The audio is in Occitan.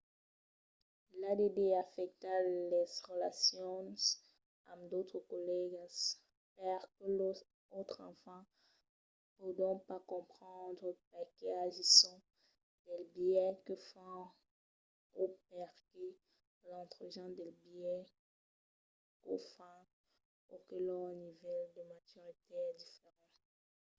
l’add afècta las relacions amb d'autres collègas perque los autres enfants pòdon pas comprendre perqué agisson del biais que fan o perqué letrejan del biais qu'o fan o que lor nivèl de maturitat es diferent